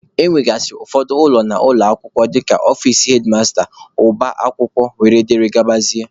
E nwegasịrị ụfọdụ ụlọ n'ụlọ akwụkwọ dịka ọfici hedmasta, ọba akwụkwọ wdg.